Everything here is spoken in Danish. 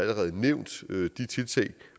nævnt de tiltag